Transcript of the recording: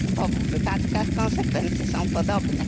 W obu wypadkach konsekwencje są podobne.